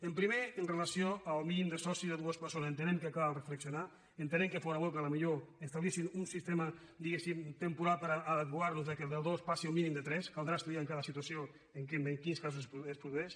el primer amb relació al mínim de socis de dues persones entenem que cal reflexionar entenem que fóra bo que potser establissin un sistema diguéssim temporal perquè de dos passi a un mínim de tres caldrà estudiar en cada situació en quins casos es produeix